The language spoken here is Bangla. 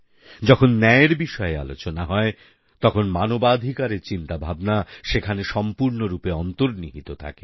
যখন ন্যায়ের বিষয়ে আলোচনা হয় তখন মানবাধিকারের চিন্তাভাবনা সেখানে সম্পূর্ণরূপে অন্তর্নিহিত থাকে